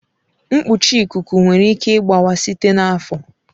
Mkpuchi ikuku nwere ike ịgbawa site n'afọ.